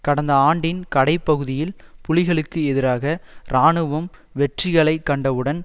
கடந்த ஆண்டின் கடை பகுதியில் புலிகளுக்கு எதிராக இராணுவம் வெற்றிகளை கண்டவுடன்